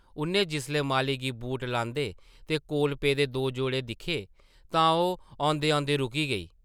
उʼन्नै जिसलै माली गी बूट लांदे ते कोल पेदे दो जोड़े दिक्खे तां ओह् औंदे-औंदे रुकी गेई ।